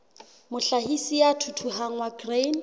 mohlahisi ya thuthuhang wa grain